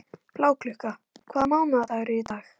Bláklukka, hvaða mánaðardagur er í dag?